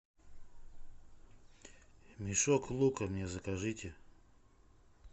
мешок лука мне закажите